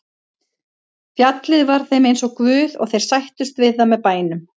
Fjallið var þeim eins og guð og þeir sættust við það með bænum.